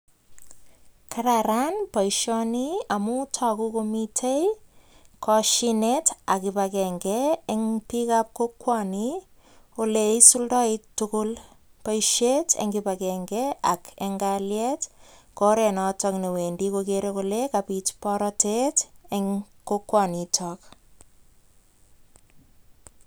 Kararan boisioni amu toku komite kosyinet ak kibakenge eng piikab kokwoni kole isuldoe tugul boisiet eng kibakenge ak eng kalyet, ko oret noto ne wendi kokere kole kabit borotet eng kokwonitok.